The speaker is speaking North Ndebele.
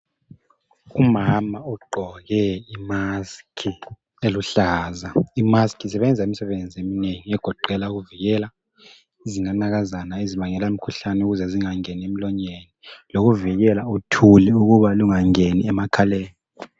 Umama ogqoke isayeke esiluhlaza. Isayeke sisebenza imisebenzi eminengi egoqela ukuvikela izinanakazana ezibangela imikhuhlane ukuthi zingangeni emlonyeni kanye lothuli lungangeni emakhaleni.